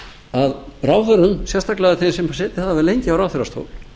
að ráðherrum sérstaklega þeim sem setið hafa lengi á ráðherrastóli